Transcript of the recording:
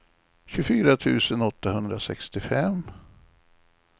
tjugofyra tusen åttahundrasextiofem